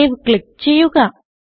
save click ചെയ്യുക